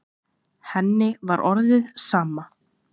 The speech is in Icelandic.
Henni var orðið sama.